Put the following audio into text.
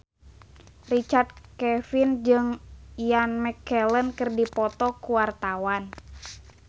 Richard Kevin jeung Ian McKellen keur dipoto ku wartawan